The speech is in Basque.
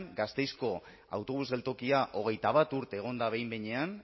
gasteizko autobus geltokia hogeita bat urte egon da behin behinean